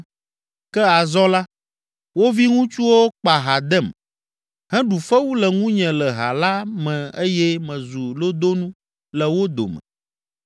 “Ke azɔ la, wo viŋutsuwo kpa ha dem, heɖu fewu le ŋunye le ha la me eye mezu lodonu le wo dome.